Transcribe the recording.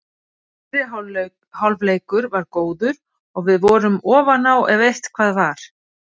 Fyrri hálfleikur var góður og við vorum ofan á ef eitthvað var.